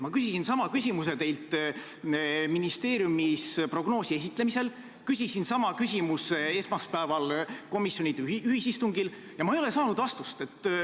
Ma küsisin sama küsimuse teilt ministeeriumis prognoosi esitlemisel ja esmaspäeval komisjonide ühisistungil, aga ma ei ole saanud vastust.